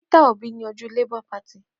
Peter Òbí ní ojú Labour Party.